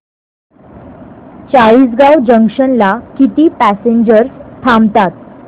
Chalisgaon junction ला किती passengers थांबतात